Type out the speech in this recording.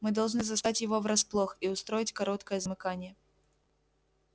мы должны застать его врасплох и устроить короткое замыкание